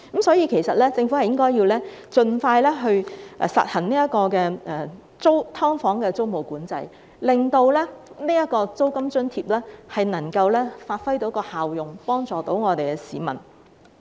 所以，政府其實應盡快實行"劏房"租務管制，令租金津貼能夠發揮效用，能真正幫助市民。